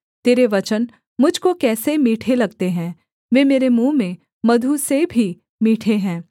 तेरे वचन मुझ को कैसे मीठे लगते हैं वे मेरे मुँह में मधु से भी मीठे हैं